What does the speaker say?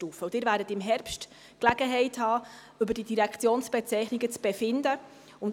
Sie werden im Herbst die Gelegenheit haben, über diese Direktionsbezeichnungen zu befinden.